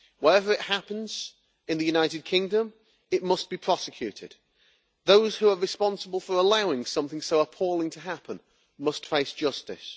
Wherever it happens in the United Kingdom it must be prosecuted. Those who are responsible for allowing something so appalling to happen must face justice.